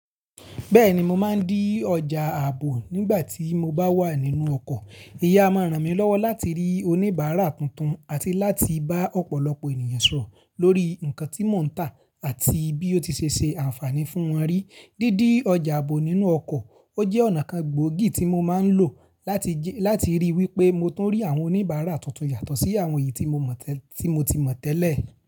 Bẹ́ẹ̀ni, mo máa ń dí ọjà ààbò nígbà tí mo bá wà nínú ọkọ̀. Eyi a máa ń ràn mí lọ́wọ́ láti rí oníbàárà tuntun àti láti bá ọ̀pọ̀lọpọ̀ ènìyàn sọ̀rọ̀ lórí nǹkan tí mò ń tà àti bí ó ti ṣe ṣe àǹfààní fún wọn rí. Dídí ọjà ààbò nínú ọkọ̀, ó jẹ́ ọ̀nà kan gbòógì tí mo máa ń lò láti ríi wípé mo tún rí àwọn oníbàárà tuntun yàtọ̀ sí àwọn èyí tí mo ti mọ̀ tẹ́lẹ̀.